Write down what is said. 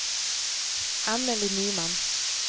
Annelie Nyman